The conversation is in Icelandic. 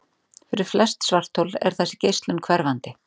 Fyrir flest svarthol er þessi geislun hverfandi.